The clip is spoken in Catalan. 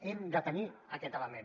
hem de tenir aquest element